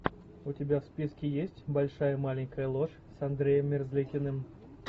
у тебя в списке есть большая маленькая ложь с андреем мерзликиным